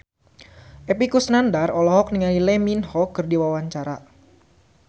Epy Kusnandar olohok ningali Lee Min Ho keur diwawancara